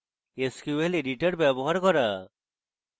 sql editor ব্যবহার করা